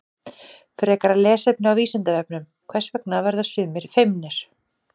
Frekara lesefni á Vísindavefnum: Hvers vegna verða sumir feimnir?